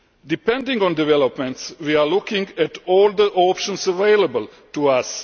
Depending on developments, we are looking at all the options available to us.